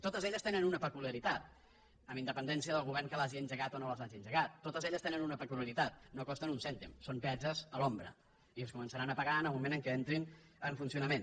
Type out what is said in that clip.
totes elles tenen una peculiaritat amb independència del govern que l’hagi engegat o no les hagi engegat totes elles tenen una peculiaritat no costen un cèntim són peatges a l’ombra i es començaran a pagar en el moment en què entrin en funcionament